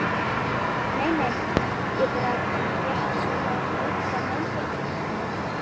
Nei, nei, ég er bara rétt svona að liðka málbeinið.